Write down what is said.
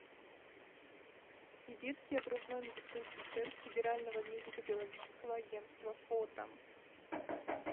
сибирский окружной медицинский центр федерального медико биологического агентства фото